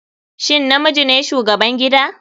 Shin namiji ne shugaban gida/